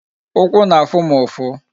Ụkwụ na-afụ m ụfụ